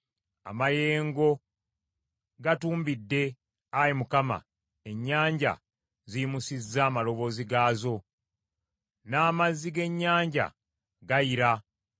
Amayengo gatumbidde, Ayi Mukama ; ennyanja ziyimusizza amaloboozi gaazo, n’amazzi g’ennyanja gayira.